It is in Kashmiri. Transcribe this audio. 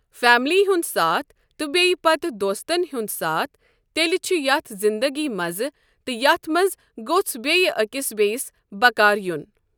فیملی ہُنٛد ساتھ تہٕ بیٚیہِ پَتہٕ دوستن ہُنٛد ساتھ تیٚلہِ چھُ یَتھ زنٛدگی مَزٕ تہٕ یِتھ منٛز گوژ بیٚیہِ أکِس بیِٚیس بکار یُن۔